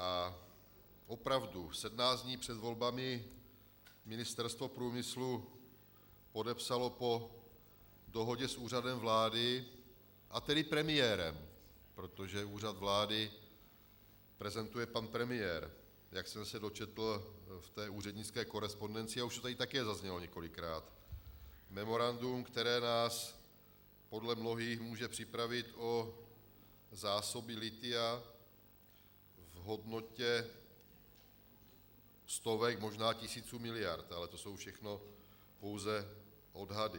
A opravdu sedmnáct dní před volbami Ministerstvo průmyslu podepsalo po dohodě s Úřadem vlády, a tedy premiérem, protože Úřad vlády prezentuje pan premiér, jak jsem se dočetl v té úřednické korespondenci, a už to tady také zaznělo několikrát, memorandum, které nás podle mnohých může připravit o zásoby lithia v hodnotě stovek, možná tisíců miliard, ale to jsou všechno pouze odhady.